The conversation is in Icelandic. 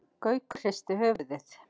Gaukur hristi höfuðið.